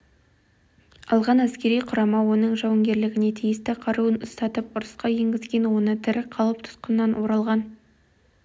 алған әскери құрама оның жауынгерлеріне тиісті қаруын ұстатып ұрысқа енгізген оны тірі қалып тұтқыннан оралған